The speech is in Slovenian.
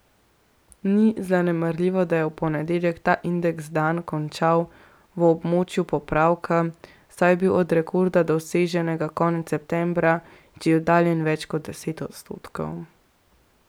Ni zanemarljivo, da je v ponedeljek ta indeks dan končal v območju popravka, saj je bil od rekorda, doseženega konec septembra, že oddaljen več kot deset odstotkov.